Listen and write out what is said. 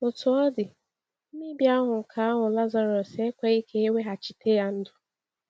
Otú ọ dị, mmebi ahụ́ nke ahụ̀ Lazarus ekweghị ka e weghachite ya ndụ.